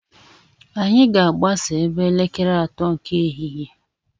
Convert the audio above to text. Anyị ga-agbasa ebe elekere atọ nke ehihie.